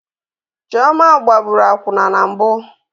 Chioma gbaraburu akwụna na mbụ